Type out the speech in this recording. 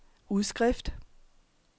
udskrift